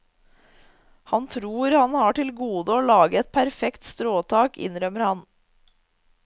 Han tror han har til gode å lage et perfekt stråtak, innrømmer han.